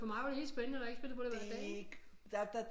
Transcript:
For mig var det helt spændende når jeg ikke spillede på det hver dag ikke